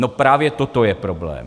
No právě toto je problém.